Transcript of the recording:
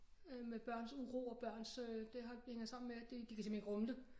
Øh med børns uro og børns øh det har det hænger sammen med at det de kan simpelthen ikke rumme det